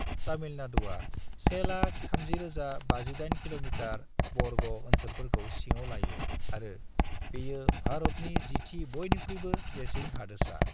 तामिलनाडुआ 130,058 किमी बर्ग ओनसोलफोरखौ सिङाव लायो आरो बेयो भारतनि जिथि बयनिख्रुयबो देरसिन हादोरसा।